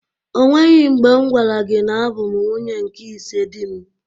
O nweghi mgbe m gwara gi na abụ m nwunye nke ise dị m.